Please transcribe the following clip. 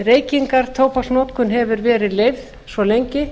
reykingar tóbaksnotkun hefur verið leyfð svo lengi